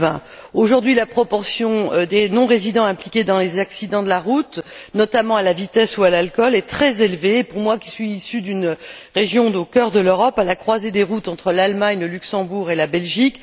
2020. Aujourd'hui, la proportion des non résidents impliqués dans des accidents de la route imputables notamment à la vitesse ou à l'alcool est très élevée pour moi qui suis issue d'une région située au cœur de l'Europe, à la croisée des routes entre l'Allemagne, le Luxembourg et la Belgique.